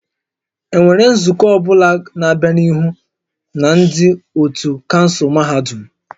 Enwere nzukọ ọ bụla na-abịa n'ihu na ndị otu kansụl mahadum?